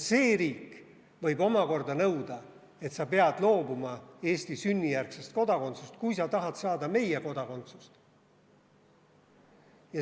See riik võib omakorda nõuda, et sa pead loobuma Eesti sünnijärgsest kodakondsusest, kui sa tahad saada meie kodakondsust.